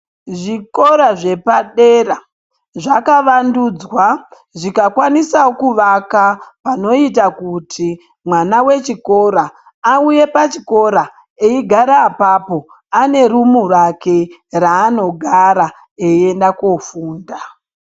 Zvikora zvepadera zvakavandudzwa zvikakwanisa kuvaka panoita kuti mwana wechikora auye pachikora, eyigara apapo, anerumu rake ra anogara eyenda kofunda.